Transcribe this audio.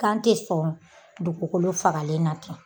Kan te sɔn dugukolo fagalen na ten